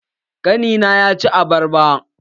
Ƙani na ya ci abarban.